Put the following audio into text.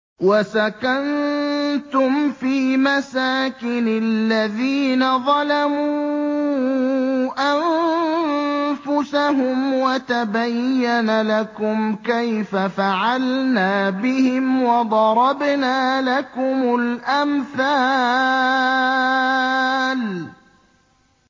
وَسَكَنتُمْ فِي مَسَاكِنِ الَّذِينَ ظَلَمُوا أَنفُسَهُمْ وَتَبَيَّنَ لَكُمْ كَيْفَ فَعَلْنَا بِهِمْ وَضَرَبْنَا لَكُمُ الْأَمْثَالَ